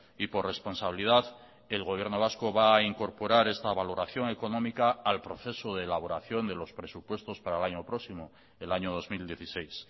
y por responsabilidad el gobierno vasco va a incorporar esta valoración económica al proceso de elaboración de los presupuestos para el año próximo el año dos mil dieciséis